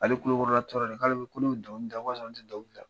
Ale kulo kɔrɔla tɔɔrɔnen, k'ale bolo ko ne be dɔngili da, ko ka sɔrɔ ne te dɔngili da.